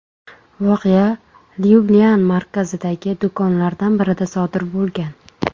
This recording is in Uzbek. Voqea Lyublyan markazidagi do‘konlardan birida sodir bo‘lgan.